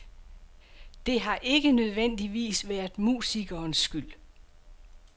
Det har ikke nødvendivis været musikernes skyld.